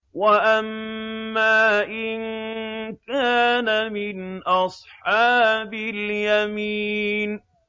وَأَمَّا إِن كَانَ مِنْ أَصْحَابِ الْيَمِينِ